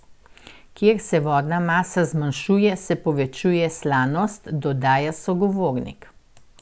Ker se vodna masa zmanjšuje, se povečuje slanost, dodaja sogovornik.